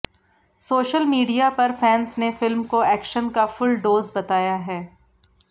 social media पर fans ने film को एक्शन का फुल डोज बताया है